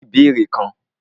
Mó ní ìbéèrè kan.